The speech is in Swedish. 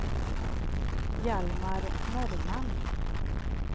Hjalmar Norrman